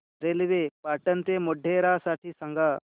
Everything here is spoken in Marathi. रेल्वे पाटण ते मोढेरा साठी सांगा